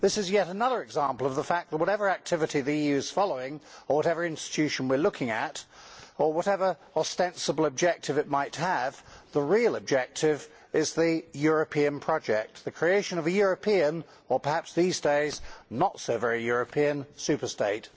This is yet another example of the fact that, whatever activity the EU is following, whatever institution we are looking at, or whatever ostensible objective it might have, the real objective is the European project, the creation of a European or perhaps these days, not so very European superstate.